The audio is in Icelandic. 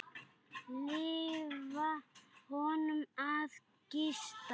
Leyfa honum að gista.